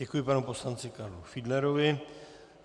Děkuji panu poslanci Karlu Fiedlerovi.